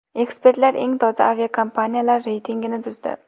Ekspertlar eng toza aviakompaniyalar reytingini tuzdi.